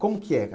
Como que é?